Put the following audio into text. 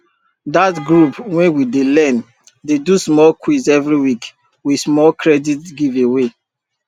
dat group wey we dey learn dey do small quiz every week with small credit giveaway